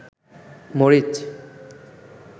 মরিচ